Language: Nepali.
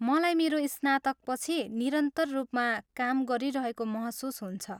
मलाई मेरो स्नातकपछि निरन्तर रूपमा काम गरिरहेको महसुस हुन्छ।